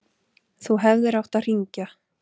Þú hefðir átt að hringja.